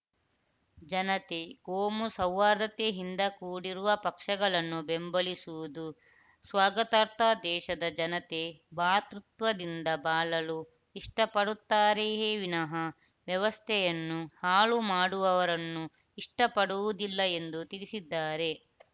ಜನತೆ ಕೋಮು ಸೌಹಾರ್ದತೆಯಿಂದ ಕೂಡಿರುವ ಪಕ್ಷಗಳನ್ನು ಬೆಂಬಲಿಸುವುದು ಸ್ವಾಗತಾರ್ತ ದೇಶದ ಜನತೆ ಭ್ರಾತೃತ್ವದಿಂದ ಬಾಳಲು ಇಷ್ಟಪಡುತ್ತಾರೆಯೇ ವಿನಹ ವ್ಯವಸ್ಥೆಯನ್ನು ಹಾಳು ಮಾಡುವವರನ್ನು ಇಷ್ಟಪಡುವುದಿಲ್ಲ ಎಂದು ತಿಳಿಸಿದ್ದಾರೆ